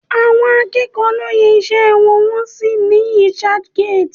Àwọn akẹ́kọ̀ọ́ lo yẹ iṣẹ́ wọn wò ní researchgate